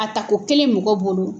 A tako kelen mɔgɔ bolo